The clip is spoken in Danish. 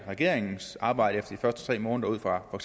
regeringens arbejde efter de første tre måneder ud fra for